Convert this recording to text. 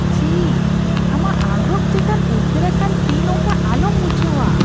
ᱪᱷᱤ, ᱟᱢᱟᱜ ᱟᱸᱜᱨᱚᱯ ᱪᱮᱛᱟᱱ ᱩᱫᱜᱟᱹᱨᱟᱠᱟᱱ ᱛᱤ ᱱᱚᱝᱠᱟ ᱟᱞᱚᱢ ᱢᱩᱪᱷᱟᱹᱣᱟ ᱾